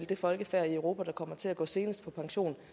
det folkefærd i europa der kommer til at gå senest på pension